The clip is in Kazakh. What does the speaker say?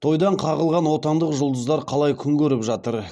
тойдан қағылған отандық жұлдыздар қалай күн көріп жатыр